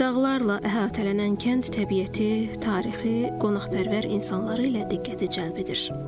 Dağlarla əhatələnən kənd təbiəti, tarixi, qonaqpərvər insanları ilə diqqəti cəlb edir.